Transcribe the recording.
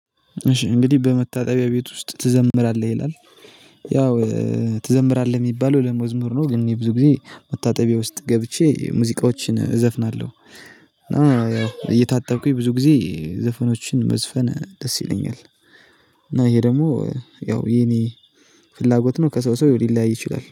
እሺ እንግዲህ በመታጠቢያ ቤት ውስጥ ትዘምራለህ ይላል? ያው ትዘምራለህ የሚባለው ለመዝሙር ነው ግን የብዙ ጊዜ መታጠቢያ ውስጥ ገብቼ ሙዚቃዎችን እዘፍናለሁ። እየታጠብኩኝ ብዙ ጊዜ ዘፈኖችን መዝፈን ደስ ይለኛል። እና ይሄ ደግሞ ያው የኔ ፍላጎት ነው ከሰው ሰው ሊለያይ ይችላል